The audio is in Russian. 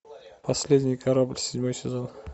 последний корабль седьмой сезон